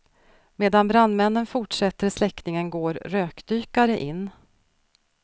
Medan brandmännen fortsätter släckningen går rökdykare in.